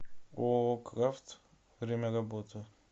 ооо крафт время работы